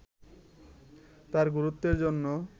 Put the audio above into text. তার গুরুত্বের জন্য